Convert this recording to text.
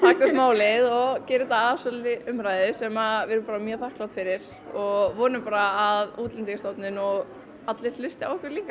málið og gera þetta að svolítilli umræðu sem við erum mjög þakklát fyrir og vonum bara að Útlendingastofnun og allir hlusti á okkur líka